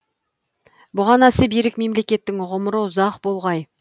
бұғанасы берік мемлекеттің ғұмыры ұзақ болғай